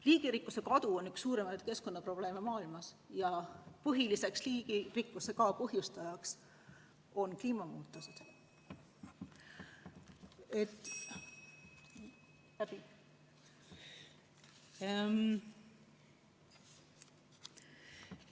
Liigirikkuse kadu on üks suuremaid keskkonnaprobleeme maailmas ja põhiliselt põhjustavad liigirikkuse kadu kliimamuutused.